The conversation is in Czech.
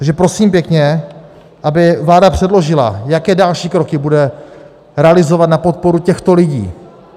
Takže prosím pěkně, aby vláda předložila, jaké další kroky bude realizovat na podporu těchto lidí.